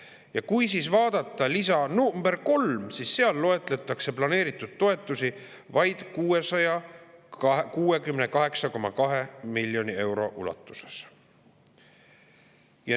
Ja kui vaadata lisa nr 3, siis seal loetletakse planeeritud toetusi vaid 668,2 miljoni euro ulatuses.